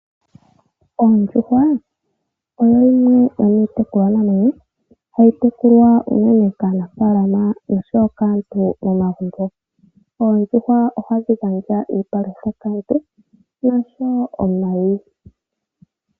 Ondjuhwa oyo yimwe yomiitekulwanamwenyo hayi tekulwa unene kaanafalama oshowo kaantu momagumbo. Oondjuhwa ohadhi gandja iipalutha kaantu noshowo omayi.